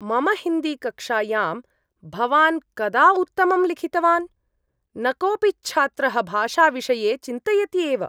मम हिन्दीकक्ष्यायां भवान् कदा उत्तमं लिखितवान्? न कोपि च्छात्रः भाषाविषये चिन्तयति एव।